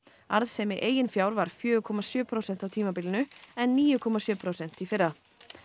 arðsemi eigin fjár var fjögurra komma sjö prósent á tímabilinu en níu komma sjö prósent í fyrra